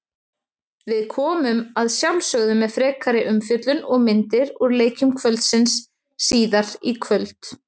Við komum að sjálfsögðu með frekari umfjöllun og myndir úr leikjum kvöldsins síðar í kvöld.